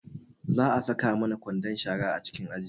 Za a saka mana kwandon shara a cikin aji